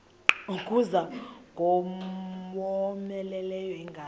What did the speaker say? kuza ingowomeleleyo ingalo